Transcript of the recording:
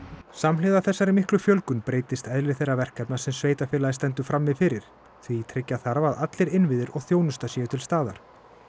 samhliða þessari miklu fjölgun breytist eðli þeirra verkefna sem sveitarfélagið stendur frammi fyrir því tryggja þarf að allir innviðir og þjónusta séu til staðar